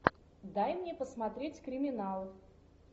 дай мне посмотреть криминал